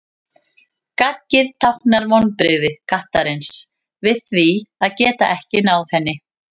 Gaggið táknar vonbrigði kattarins við því að geta ekki náð henni.